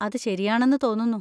അത് ശരിയാണെന്ന് തോന്നുന്നു.